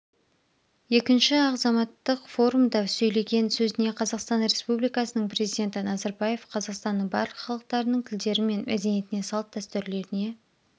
екінші ахзаматтық форумда сөйлеген сөзіне қазақстан республикасының президенті назарбаев қазақстанның барлық халықтарының тілдері мен мәдениетіне салт-дәстүрлеріне